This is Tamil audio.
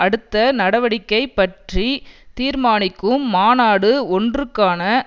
அடுத்த நடவடிக்கை பற்றி தீர்மானிக்கும் மாநாடு ஒன்றுக்கான